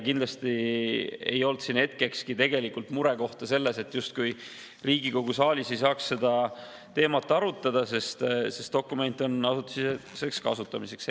Kindlasti ei olnud hetkekski tegelikult muret, justkui Riigikogu saalis ei saaks seda teemat arutada, sest dokument on asutusesiseseks kasutamiseks.